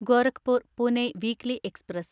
Gorakhpur Pune weekly express